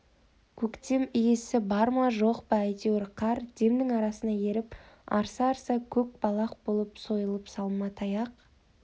көктем иісі бар ма жоқ па әйтеуір қар демнің арасында еріп арса-арса көк балақ болып сойылып салма таяқ